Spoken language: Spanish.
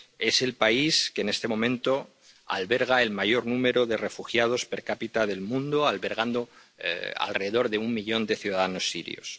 es el país que en este momento alberga el mayor número de refugiados per cápita del mundo, con alrededor de un millón de ciudadanos sirios.